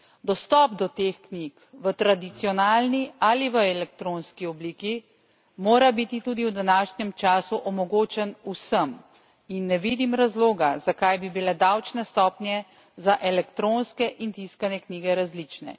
Dostop do teh knjig v tradicionalni ali v elektronski obliki mora biti tudi v današnjem času omogočen vsem in ne vidim razloga, zakaj bi bile davčne stopnje za elektronske in tiskane knjige različne.